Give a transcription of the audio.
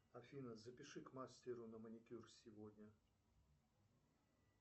афина запиши к мастеру на маникюр сегодня